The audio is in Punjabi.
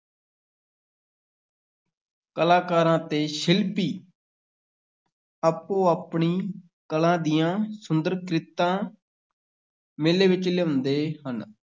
ਕਲਾਕਾਰਾਂ ਤੇ ਸ਼ਿਲਪੀ ਆਪੋ-ਆਪਣੀ ਕਲਾ ਦੀਆਂ ਸੁੰਦਰ ਕ੍ਰਿਤਾਂ ਮੇਲੇ ਵਿੱਚ ਲਿਆਉਂਦੇ ਹਨ।